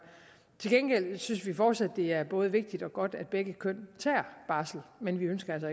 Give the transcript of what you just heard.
til gengæld synes vi fortsat det er både vigtigt og godt at begge køn tager barsel men vi ønsker